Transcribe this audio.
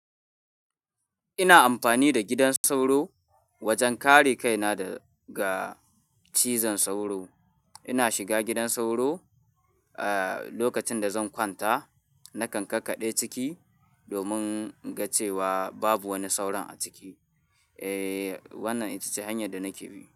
Ina amfani da gidan sauro wajen kare kaina daga cizon sauro. Ina shiga gidan sauro, eh, lokacin da zan kwanta. Nakan kakkaɗe ciki domin in ga cewa babu wani sauron a ciki. Eh, wannan ita ce hanyar da nake bi.